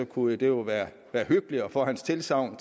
kunne det jo været hyggeligt at få hans tilsagn